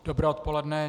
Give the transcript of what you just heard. Dobré odpoledne.